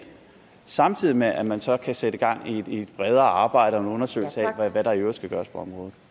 samtidig med at man så kan sætte gang i et bredere arbejde og nogle undersøgelser af hvad der i øvrigt skal gøres på området